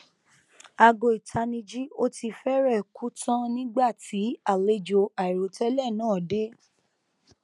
aago itaniji o tii fẹrẹẹ ku tan nigba ti alejo airotẹlẹ naa de